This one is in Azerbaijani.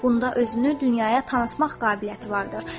Bunun özünü dünyaya tanıtmaq qabiliyyəti vardır.